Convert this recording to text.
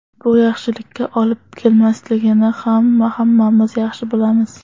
Bu yaxshilikka olib kelmasligini ham hammamiz yaxshi bilamiz.